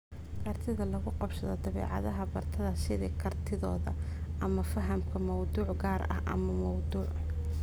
Kartida lagu qabsado dabeecadaha bartaha (sida, kartidooda ama fahamka mawduuc gaar ah ama mawduuc)